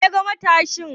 Wane ne ya yaga matashin?